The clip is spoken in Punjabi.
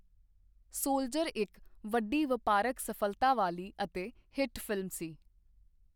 ਸੋਲਜਰ' ਇੱਕ ਵੱਡੀ ਵਪਾਰਕ ਸਫਲਤਾ ਵਾਲੀ ਅਤੇ ਹਿੱਟ ਫ਼ਿਲਮ ਸੀ।